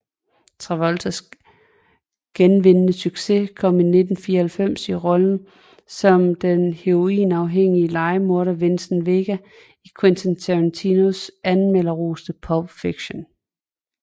Travoltas genvindende succes kom i 1994 i rollen som den heroinafhængige lejemorder Vincent Vega i Quentin Tarantinos anmelderroste Pulp Fiction